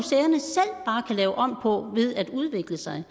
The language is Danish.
og kan lave om på ved at udvikle sig